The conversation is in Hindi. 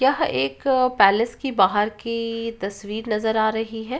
यह एक पैलेस की बाहर की तस्वीर नजर आ रही है।